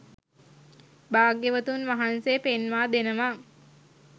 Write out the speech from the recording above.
භාග්‍යවතුන් වහන්සේ පෙන්වා දෙනවා